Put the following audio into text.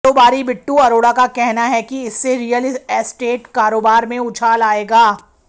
कारोबारी बिट्टू अरोड़ा का कहना है कि इससे रीयल एस्टेट कारोबार में उछाल आएगा